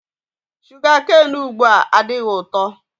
Sugakain ugbua adịghị ụtọ.